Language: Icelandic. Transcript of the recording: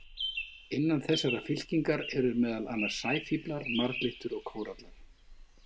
Innan þessarar fylkingar eru meðal annars sæfíflar, marglyttur og kórallar.